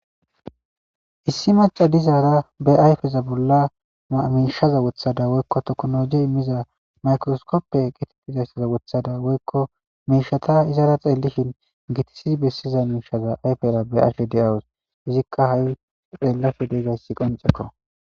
Issi maca dizaara be ayfeza bolla mamiishaza wothada woykko toknologi immiza maykroskoppe gitettizayssaza wothada woykko miishata izaara xeelishin gitisi bessiza miishaza ayfera be aasfe de7awus izikka ha7i xeellafe dedayssi qoncekko